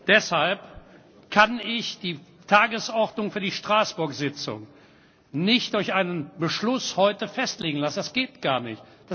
Deshalb kann ich die Tagesordnung für die Straßburg Tagung nicht durch einen Beschluss heute festlegen lassen. Das geht gar nicht.